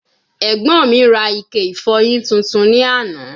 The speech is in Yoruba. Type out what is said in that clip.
Ẹgbọn mi ra Ike ifọyin tuntun ni ana